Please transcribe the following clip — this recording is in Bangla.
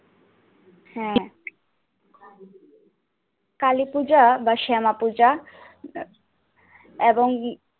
হ্যা কালীপূজা বা শ্যামাপূজা এবং